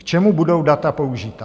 K čemu budou data použita?